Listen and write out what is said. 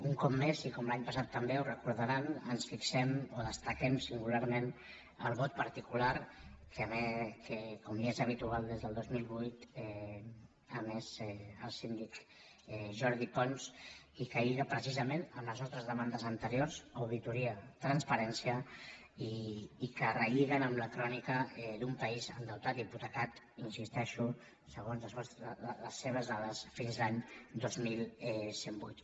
un cop més i com l’any passat també ho recordaran ens fixem o destaquem singularment el vot particular que com ja és habitual des del dos mil vuit ha emès el síndic jordi pons i que lliga precisament amb les nostres demandes anteriors auditoria transparència i que relliguen amb la crònica d’un país endeutat i hipotecat hi insisteixo segons les seves dades fins l’any dos mil cent i vuit